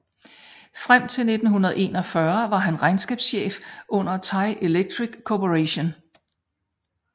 Frem til 1941 var han regnskabschef under Thai Electric Corporation